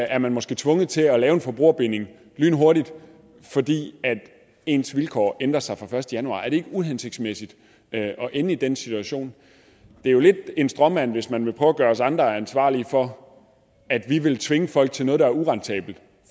er man måske tvunget til at lave en forbrugerbinding lynhurtigt fordi ens vilkår ændrer sig fra den første januar er det ikke uhensigtsmæssigt at ende i den situation det er jo lidt en stråmand hvis man vil prøve at gøre os andre ansvarlige for at vi vil tvinge folk til noget der er urentabelt